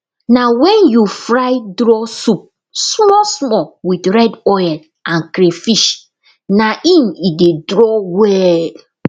na wen you fry draw soup small small with red oil and crayfish na im e dey draw well